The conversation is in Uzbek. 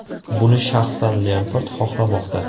Buni shaxsan Lempard xohlamoqda.